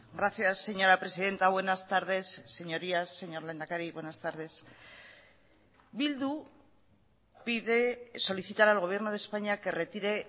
gracias señora presidenta buenas tardes señorías señor lehendakari buenas tardes bildu pide solicitar al gobierno de españa que retire